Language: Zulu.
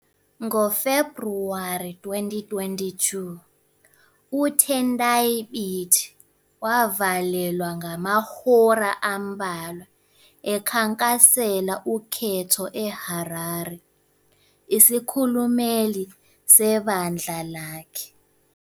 NgoFebhuwari 2022, uTendai Biti, wavalelwa ngamahora ambalwa ekhankasela ukhetho eHarare, isikhulumeli sebandla lakhe.